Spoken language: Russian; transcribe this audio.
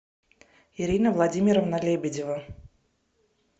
ирина владимировна лебедева